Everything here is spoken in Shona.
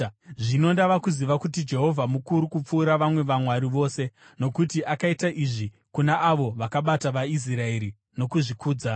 Zvino ndava kuziva kuti Jehovha mukuru kupfuura vamwe vamwari vose, nokuti akaita izvi kuna avo vakabata vaIsraeri nokuzvikudza.”